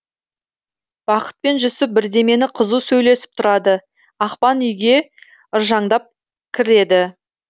бақыт пен жүсіп бірдемені қызу сөйлесіп тұрады ақбан үйге ыржаңдап кіреді